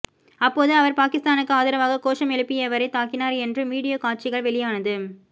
அப்போது அவர் பாகிஸ்தானுக்கு ஆதரவாக கோஷம் எழுப்பியவரை தாக்கினார் என்றும் வீடியோ காட்சிகள் வெளியானது